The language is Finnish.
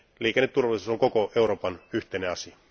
Liikenneturvallisuus on koko Euroopan yhteinen asia.